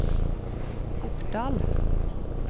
Oppdal